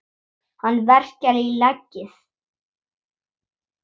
Hana verkjar í legið.